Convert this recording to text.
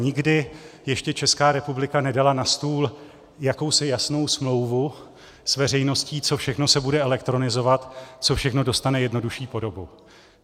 Nikdy ještě Česká republika nedala na stůl jakousi jasnou smlouvu s veřejností, co všechno se bude elektronizovat, co všechno dostane jednodušší podobu.